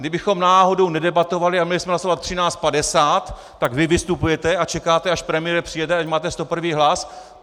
Kdybychom náhodou nedebatovali a měli jsme hlasovat 13.50, tak vy vystupujete a čekáte, až premiér přijede, ať máte 101. hlas.